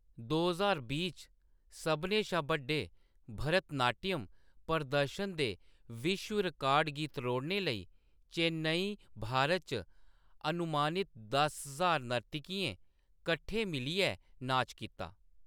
दो ज्हार बीह् च, सभनें शा बड्डे भरतनाट्यम प्रदर्शन दे विश्व रिकार्ड गी त्रोड़ने लेई, चेन्नई, भारत च अनुमानित दस ज्हार नर्तकियें कट्ठे मिलियै नाच कीता।